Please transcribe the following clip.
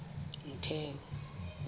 motheo